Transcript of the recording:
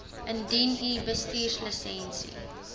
indien u bestuurslisensie